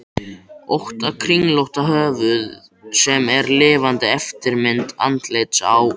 ótta kringlótta höfuð sem er lifandi eftirmynd andlitsins á